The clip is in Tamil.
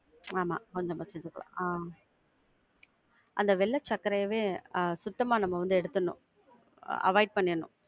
ஆமா கொஞ்சமா சேத்துக்கலாம் ஆஹ் அந்த வெள்ள சக்கரையவே சுத்தமா நம்ம வந்து எடுத்தரனும். avoid பண்ணிறனும்.